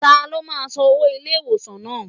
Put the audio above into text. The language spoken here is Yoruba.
Ta ló ma san owó ilé ìwòsàn náà.?